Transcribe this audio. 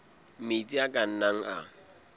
metsi a ka nnang a